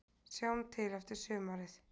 Sjáum til eftir sumarið